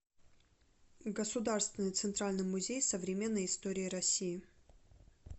государственный центральный музей современной истории россии